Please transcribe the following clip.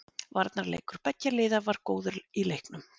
Varnarleikur beggja liða var góður í leiknum.